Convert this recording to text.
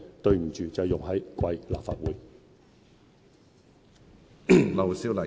對不起，就是用在貴立法會。